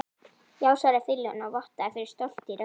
Já, svaraði fyrirliðinn og vottaði fyrir stolti í röddinni.